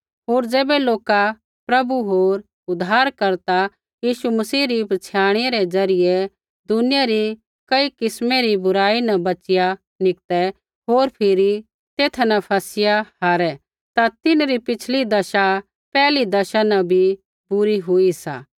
होर ज़ैबै लोका प्रभु होर उद्धारकर्ता यीशु मसीह री पछ़ियाणै रै ज़रियै दुनिया री कई किस्मै री बुराई न बच़िया निकतै होर फिरी तेथा न फसिया हारै ता तिन्हरी पिछ़ली दशा पैहिली दशा न भी बुरी हुई सा